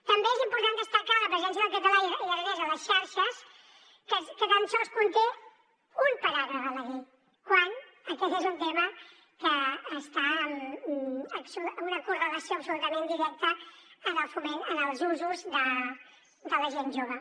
també és important destacar la presència del català i aranès a les xarxes que tan sols conté un paràgraf a la llei quan aquest és un tema que està amb una correlació absolutament directa en el foment en els usos de la gent jove